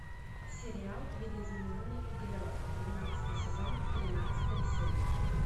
сериал видоизмененный углерод двенадцатый сезон тринадцатая серия